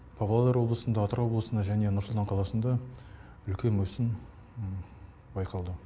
павлодар облысында атырау облысында және нұр сұлтан қаласында үлкен өсім байқалды